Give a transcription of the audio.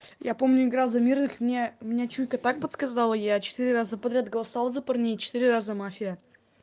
я помню играл за мирных мне мне чуйка так подсказала я четыре раза подряд голосовал за парней четыре раза мафия